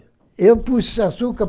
Eu pus o açúcar.